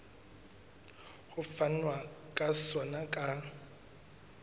ho fanwa ka sona ka